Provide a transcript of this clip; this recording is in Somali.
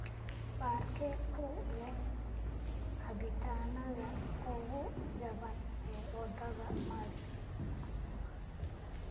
Baarkee ku leh cabitaanada ugu jaban ee wadada mathi